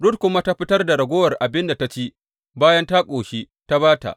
Rut kuma ta fitar da ragowar abin da ta ci bayan ta ƙoshi ta ba ta.